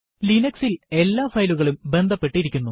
Linux ൽ എല്ലാ ഫയലുകളും ബന്ധപ്പെട്ടിരിക്കുന്നു